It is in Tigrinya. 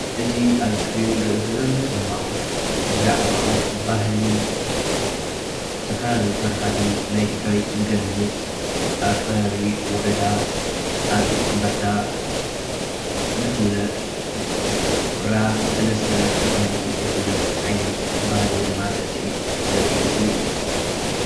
አዚ ኣብ ሰክሪን እንሪኦ ዘለና ምስሊ ብዛዕባ ባህልን ዝተፈላለዩ ታሪካትን ናይ ትግራይ ዝገልፅ ኣብ ከባቢ ወረዳ ኣፅቢ ሁራ ሰለስተ ተባሂሉ ዝፍለጥ ዓይነት ስዕሲዕት ዘርኢ ምስሊ እዩ።